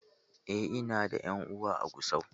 Eh, ina da ƴan uwa a Gusau